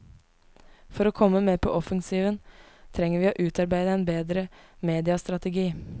For å komme mer på offensiven, trenger vi å utarbeide en bedre mediastrategi.